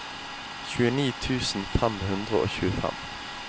tjueni tusen fem hundre og tjuefem